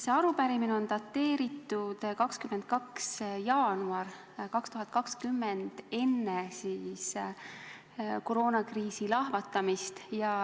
See arupärimine on dateeritud 22. jaanuaril 2020, st enne koroonakriisi lahvatamist.